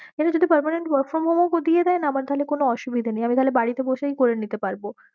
এইটা যদি permanent work from home ও দিয়েদায়ে না আমার তাহলে কোনো অসুবিধা নেই, আমি তাহলে বাড়িতে বসেই করে নিতে পারব।